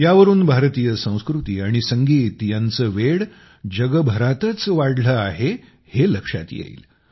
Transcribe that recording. यावरून भारतीय संस्कृती आणि संगीत यांचे वेड जगभरातच वाढलं आहे हे लक्षात येईल